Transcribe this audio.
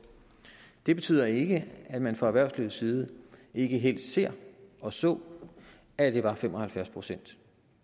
det betyder ikke at man fra erhvervslivets side ikke helst ser og så at det var fem og halvfjerds procent